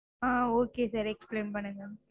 ஆஹ் okay sir explain பண்ணுங்க.